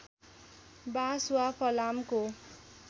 बाँस वा फलामको